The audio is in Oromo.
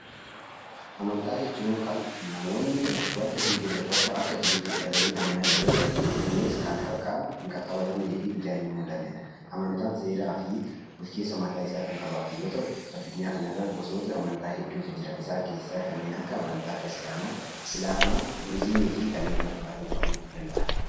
Amantaa jechuun kan namoonni wanta hin jirre tokko akka jirutti fudhatanii amanan yoo ta'u, innis kan harkaan hin qaqqabatamnee fi ijaan hin mul'anne yoo ta'an seeraa fi bulchiinsa mataa isaa kan qabaatu yoo ta'u, addunyaa kanarra gosoota amantaa hedduutu jira. Isaan keessaa kanneen akka amantaa kiristaanaa, islaamaa, budizimii fi kanneen kana fakkaatan ta'uu danda'a.